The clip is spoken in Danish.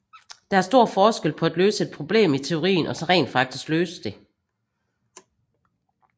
Der er stor forskel på at løse et problem i teorien og så rent faktisk løse det